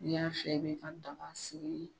N'i y'a fɛ min ka ta ka